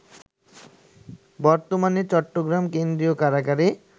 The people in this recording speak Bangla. বর্তমানে চট্টগ্রাম কেন্দ্রীয় কারাগারে